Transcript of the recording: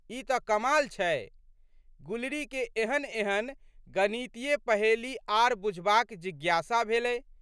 ई तऽ कमाल छै। गुलरीके एहनएहन गणितीय पहेली आर बुझबाक जिज्ञासा भेलै।